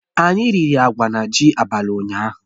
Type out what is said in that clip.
Anyị riri agwa na ji abalị ụnyaahụ